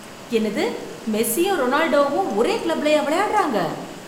என்னது மெஸ்ஸியும் ரொனால்டோவும் ஒரே கிளப்லயா விளையாடுறாங்க!